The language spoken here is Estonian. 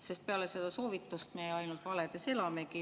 Sest peale seda soovitust me ainult valedes elamegi.